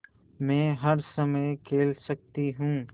मै हर समय खेल सकती हूँ